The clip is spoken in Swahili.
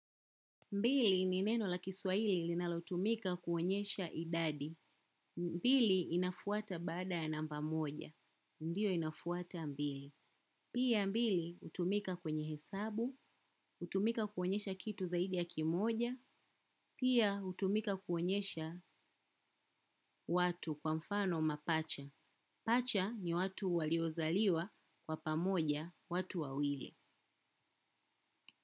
Mbili ni neno la kiswahili linalotumika kuonyesha idadi. Mbili inafuata baada ya namba moja. Ndiyo inafuata mbili. Pia mbili utumika kwenye hesabu. Utumika kuonyesha kitu zaidi ya kimoja. Pia hutumika kuonyesha watu kwa mfano mapacha. Pacha ni watu waliozaliwa kwa pamoja watu wawili.